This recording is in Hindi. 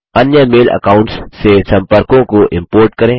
अन्य मेल अकाउंट्स से सम्पर्कों को इम्पोर्ट करें